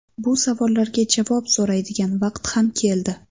Bu savollarga javob so‘raydigan vaqt ham keldi.